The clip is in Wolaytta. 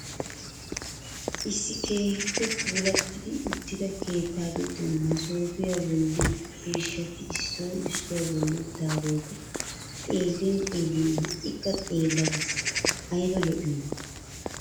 Issi keehippe puulatti uttida keettaa giddon msoopiyaa bolli ciishshati issoy issuwaa bolli uttidaageta xeellin xeellin ha'ikka xeella ges! ayba lo'iyoona!